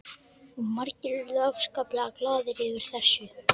Og margir urðu afskaplega glaðir yfir þessu.